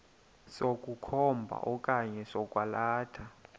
sokukhomba okanye sokwalatha